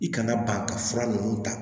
I kana ba ka fura ninnu ta